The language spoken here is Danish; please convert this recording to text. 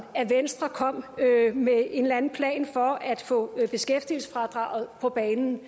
at venstre kom med en eller anden plan for at få beskæftigelsesfradraget på banen